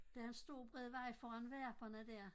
Der en stor bred vej foran Varperne der